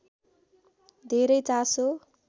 धेरै चासो